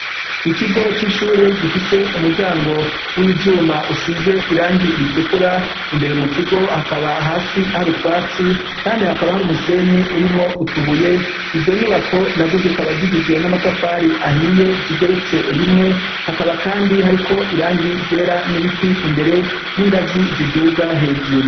Ikigo c'ishure gifise umuryango w'ivyuma usize irangi ritukura imbere mu kigo hakaba hasi hari utwatsi kandi hakaba hari umusenyi urimwo utubuye, izo nyubako nazo zikaba zigizwe n'amatafari ahiye zigeretse rimwe hakaba kandi hariko irangi ryera n'ibiti imbere n'ingazi ziduga hejuru.